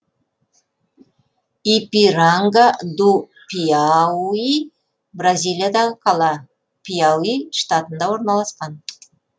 ипиранга ду пиауи бразилиядағы қала пиауи штатында орналасқан